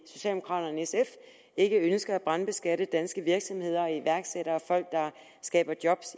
socialdemokraterne og sf ikke ønsker at brandskatte danske virksomheder iværksættere og folk der skaber job